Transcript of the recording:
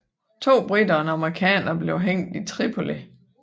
To briter og en amerikaner blev hængt i Tripoli